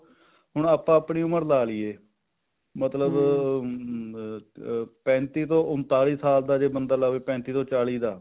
ਹੁਣ ਆਪਾਂ ਆਪਣੀ ਉਮਰ ਲਾ ਲਈਏ ਮਤਲਬ ਹਮ ਪੈਂਤੀ ਤੋਂ ਊਂਤਾਲੀ ਸਾਲ ਦਾ ਜੇ ਬੰਦਾ ਲਾਵੇ ਪੈਂਤੀ ਤੋਂ ਚਾਲੀ ਦਾ